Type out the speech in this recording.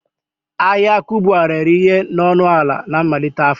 Ahịa Kubwa rere ihe na ọnụ ala na mmalite afọ